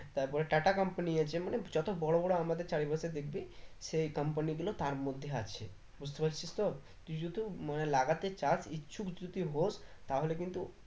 তারপরে টাটা company আছে মানে যত বড়ো বড়ো আমাদের চারি পাশে দেখবে সেই company গুলো তার মধ্যে আছে বুঝতে পারছিস তো, তুই শুধু মানে লাগাতে চাস ইচ্ছুক যদি হোশ তাহলে কিন্তু